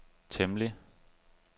temmelig